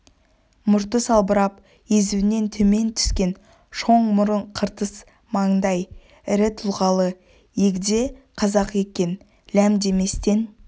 мұрты салбырап езуінен төмен түскен шоң мұрын қыртыс маңдай ірі тұлғалы егде қазақ екен ләм деместен